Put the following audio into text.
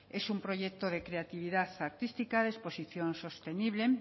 es un proyecto de creatividad artística de exposición sostenible